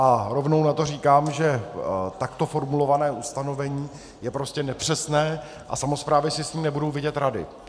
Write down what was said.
A rovnou na to říkám, že takto formulované ustanovení je prostě nepřesné a samosprávy si s ním nebudou vědět rady.